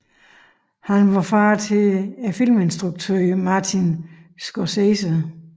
Han var far til filminstrukøren Martin Scorsese